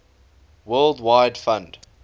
world wide fund